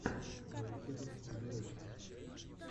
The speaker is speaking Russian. на ютюбе биби рекса